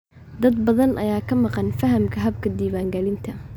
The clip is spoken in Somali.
Dad badan ayaa ka maqan fahamka habka diiwaangelinta.